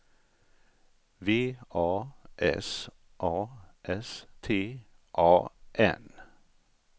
V A S A S T A N